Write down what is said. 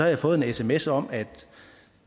jeg fået en sms om at